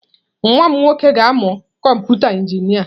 Nwa m nwoke ga-amụ kọmpụta injinia.